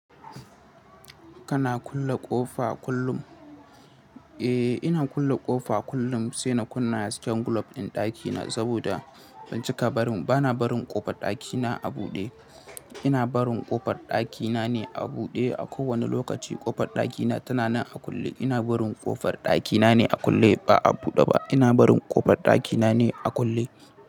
Kana kulle ƙofa kullum? Eh, ina kulle ƙofa kullum sai na kunna hasken glob ɗin ɗakina saboda ban cika barin, bana barin ƙofar ɗakina a buɗe. Ina barin ƙofar ɗakina ne a buɗe. A kowane lokaci ƙofar ɗakina tana nan a kulle. Ina barin ƙofar ɗakina ne a kulle ba a buɗe ba. Ina barin ƙofar ɗakina ne a kulle.